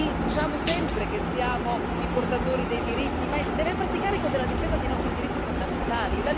Diciamo sempre che siamo i portatori dei diritti ma deve farsi carico della difesa dei nostri diritti fondamentali.